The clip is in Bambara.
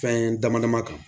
Fɛn dama dama kan